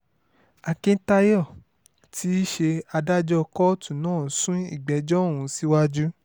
akíntayọ̀ tí í ṣe adájọ́ kóòtù náà sún ìgbẹ́jọ́ ọ̀hún síwájú